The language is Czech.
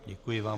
Děkuji vám.